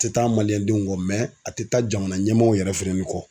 A tɛ taa kɔ a tɛ taa jamana ɲɛmɔw yɛrɛ fɛnɛni kɔ.